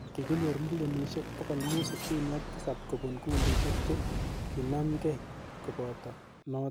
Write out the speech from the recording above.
Kikinyor millionishek 567 kopun kundishek che kinamgei kopoto notok.